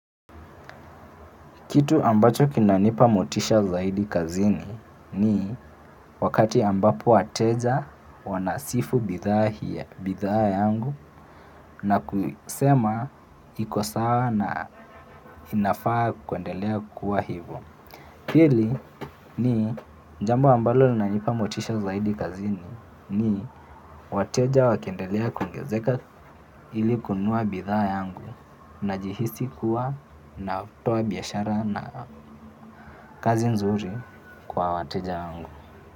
Kitu ambacho kinanipa motisha zaidi kazini ni wakati ambapo wateja wanasifu bidhaa hii ya, bidhaa yangu na kusema iko sawa na inafaa kuendelea kuwa hivo. Pili ni jambo ambalo linanipa motisha zaidi kazini. Ni wateja wakiendelea kuongezeka ili kununua bidhaa yangu najihisi kuwa natoa biashara na kazi nzuri kwa wateja yangu.